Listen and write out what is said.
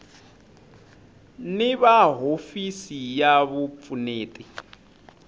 ni va hofisi ya vupfuneti